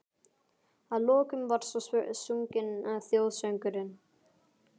Að lokum var svo sunginn þjóðsöngurinn.